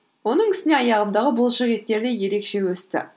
оның үстіне аяғымдағы бұлшықеттер де ерекше өсті